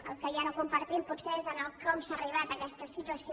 el que ja no compartim potser és com s’ha arribat a aquesta situació